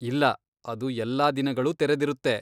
ಇಲ್ಲ, ಅದು ಎಲ್ಲಾ ದಿನಗಳೂ ತೆರೆದಿರುತ್ತೆ.